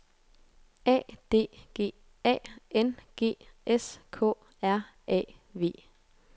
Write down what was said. A D G A N G S K R A V